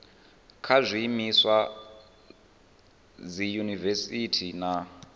kha zwiimiswa sa dziyunivesiti na